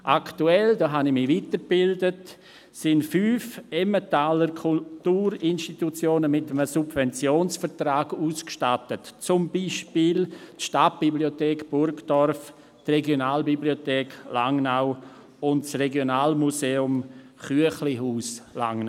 Aktuell, darüber habe ich mich weitergebildet, sind fünf Emmentaler Kulturinstitutionen mit einem Subventionsvertrag ausgestattet, zum Beispiel die Stadtbibliothek Burgdorf, die Regionalbibliothek Langnau und das Regionalmuseum «Chüechlihus» in Langnau.